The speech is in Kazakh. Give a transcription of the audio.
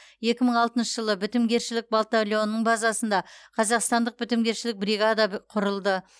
екі мың алтыншы жылы бітімгершілік батальонының базасында қазақстандық бітімгершілік бригада құрылды